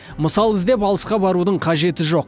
мысал іздеп алысқа барудың қажеті жоқ